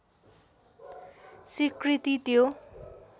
स्वीकृति त्यो